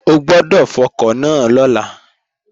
O gbọ́dọ̀ fọkọ̀ náà lọ́la!